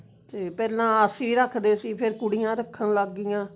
ਤੇ ਪਹਿਲਾਂ ਆਰਸੀ ਰੱਖਦੇ ਸੀ ਹੁਣ ਕੁੜੀਆਂ ਰੱਖਣ ਲੱਗ ਗਿਆਂ